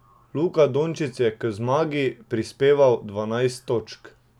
Luka Dončić je k zmagi prispeval dvanajst točk.